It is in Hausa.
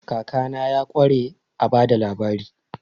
Kakana ya ƙware a ba da labari.